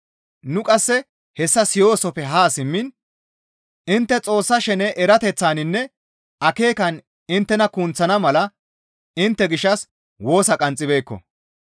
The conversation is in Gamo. Nu qasse hessa siyoosoppe haa simmiin intte Xoossa shene erateththaninne akeekan inttena kunththana mala intte gishshas woosa qanxxibeekko.